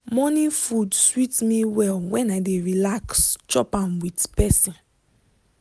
morning food sweet me well when i dey relax chop am with person